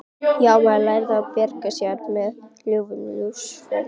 Já, maður lærði að bjarga sér með lygum Lúsífers.